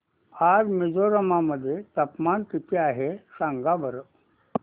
आज मिझोरम मध्ये तापमान किती आहे सांगा बरं